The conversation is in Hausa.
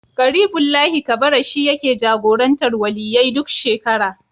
Ƙaribullahi Kabara shi yake jagorantar Waliyyai duk shekara.